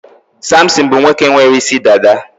Samson bụ nwoke nwere isi dada.